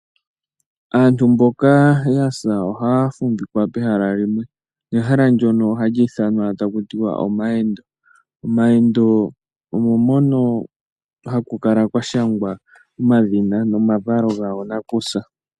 Aantu mboka yasa ohaya fumvikwa pehala limwe ne hala ndono ohaku ithanwa taku tiwa omayendo. Omayendo omo mono haku kala kwa shangwa omadhina nomavalo goo nakusa.